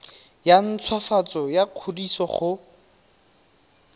ya ntshwafatso ya kwadiso go